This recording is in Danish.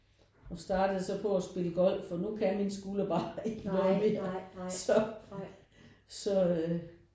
Og startede så på at spille golf og nu kan min skulder bare ikke noget mere så så